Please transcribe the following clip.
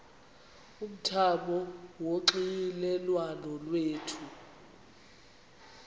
umthamo wonxielelwano lwethu